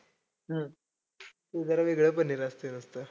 हम्म ते जरा वेगळं पनीर असतंय मस्त.